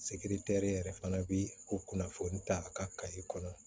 yɛrɛ fana bi o kunnafoni ta a ka kɔnɔ